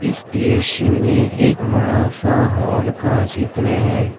इस दृश्य में एक बड़ा सा हॉल का चित्र है।